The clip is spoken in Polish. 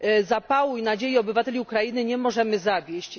Zapału i nadziei obywateli Ukrainy nie możemy zawieść.